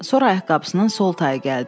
Sonra ayaqqabısının sol tayı gəldi.